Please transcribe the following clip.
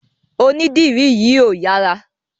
Onídìrí yìí ò yára.